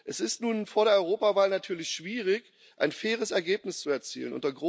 Es ist nun vor der Europawahl natürlich schwierig, ein faires Ergebnis zu erzielen.